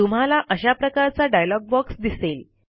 तुम्हाला अशा प्रकारचा डायलॉग बॉक्स दिसेल